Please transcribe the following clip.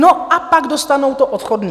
No a pak dostanou to odchodné.